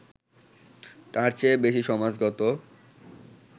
তার চেয়ে বেশি সমাজগত